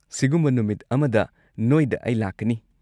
ꯁꯤꯒꯨꯝꯕ ꯅꯨꯃꯤꯠ ꯑꯃꯗ ꯅꯣꯏꯗ ꯑꯩ ꯂꯥꯛꯀꯅꯤ꯫